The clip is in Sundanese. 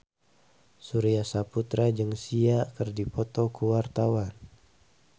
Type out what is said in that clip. Surya Saputra jeung Sia keur dipoto ku wartawan